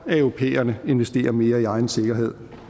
europæerne investerer mere i egen sikkerhed